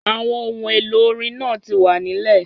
Àwọn ohun èlò orin náà ti wà nílè